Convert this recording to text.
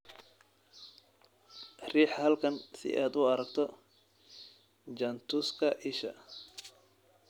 Riix halkan si aad u aragto jaantuska isha